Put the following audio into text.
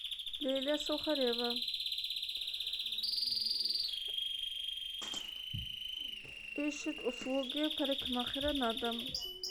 лилия сухарева ищет услуги парикмахера на дом